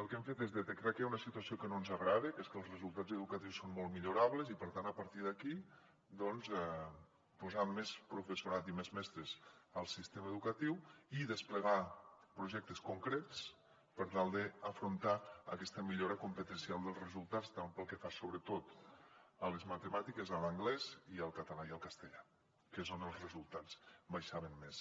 el que hem fet és detectar que hi ha una situació que no ens agrada que és que els resultats educatius són molt millorables i per tant a partir d’aquí doncs posar més professorat i més mestres al sistema educatiu i desplegar projectes concrets per tal d’afrontar aquesta millora competencial dels resultats tant pel que fa sobretot a les matemàtiques a l’anglès i al català i al castellà que és on els resultats baixaven més